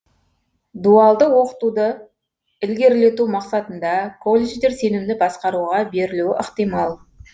дуалды оқытуды ілгерілету мақсатында колледждер сенімді басқаруға берілуі ықтимал